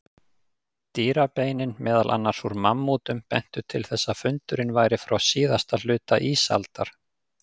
Dýrabeinin, meðal annars úr mammútum, bentu til þess að fundurinn væri frá síðasta hluta ísaldar.